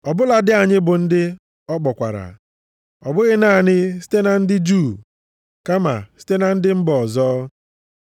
Ọ bụladị anyị bụ ndị ọ kpọkwara, ọ bụghị naanị site na ndị Juu kama site na ndị mba ọzọ?